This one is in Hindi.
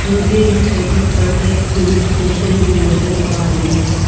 मुझे इस फोटो पर एक पुलिस स्टेशन भी नजर आ रही है।